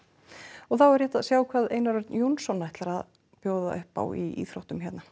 og þá er rétt að sjá hvað Einar Örn Jónsson ætlar að bjóða upp á í íþróttum hér